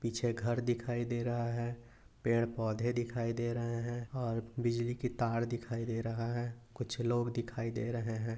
पीछे घर दिखाई दे रहा है पेड़ पौधे दिखाई दे रहे है और बिजली की तार दिखाई दे रहा है कुछ लोग दिखाई दे रहे है।